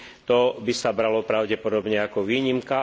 To by sa bralo pravdepodobne ako výnimka.